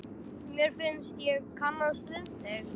Mér finnst ég kannast við þig!